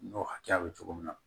N'o hakɛya bɛ cogo min na